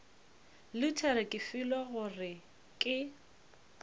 luthere ke filwe gore ke